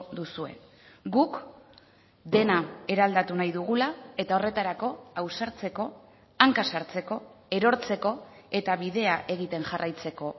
duzue guk dena eraldatu nahi dugula eta horretarako ausartzeko hanka sartzeko erortzeko eta bidea egiten jarraitzeko